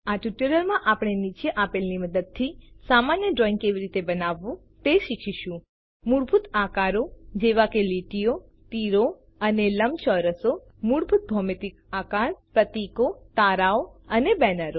આ ટ્યુટોરીયલમાં આપણે નીચે આપેલ ની મદદથી સામાન્ય ડ્રોઈંગ કેવી રીતે બનાવવું તે શીખીશું160 મૂળભૂત આકારો જેવા કે લીટીઓ તીરો એરોઝ અને લંબચોરસ મૂળભૂત ભૌમિતિક આકાર પ્રતિકો તારાઓ અને બેનરો